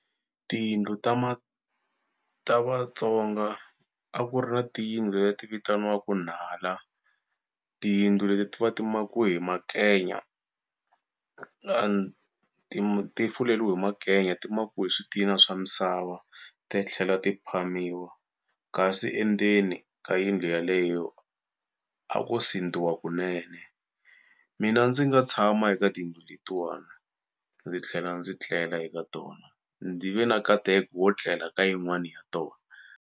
Tiyindlu ta ma ta Vatsonga a ku ri na tiyindlu leti vitaniwaka nhala tiyindlu leti ti va ti makiwe hi makenya and ti fuleliwe hi makenya ti makiwe hi switina swa misava ti tlhela ti phamiwa kasi endzeni ka yindlu yaleyo a ko sindziwa kunene mina ndzi nga tshama eka tiyindlu letiwana ndzi tlhela ndzi tlela eka tona ndzi ve na nkateko wo tlela ka yin'wani ya tona.